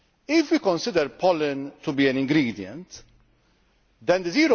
If we consider pollen to be an ingredient, then the